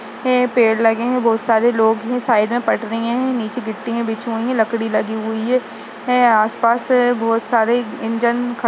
हैं पेड़ लगे हैं बहुत सारे लोग है साइड में पटरियाँ हैं नीचे गिट्टिये बिछी हुई हैं लकड़ी लगी हुई है हैं आस-पास बहुत सारे इंजन ख --